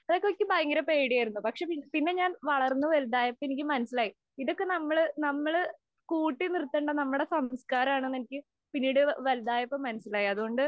ഇടയ്ക്കൊക്കെ വച്ച് എനിക്ക് ഭയങ്കര പേടിയായിരുന്നു. പക്ഷെ പിന്നെ ഞാന്‍ വളര്‍ന്നു വലുതായപ്പോള്‍ എനിക്ക് മനസിലായി. ഇതൊക്കെ നമ്മള് കൂട്ടി നിര്‍ത്തണ്ട നമ്മുടെ സംസ്കാരം ആണെന്ന് എനിക്ക് പിന്നീടു വലുതായപ്പോ മനസിലായി. അതുകൊണ്ട്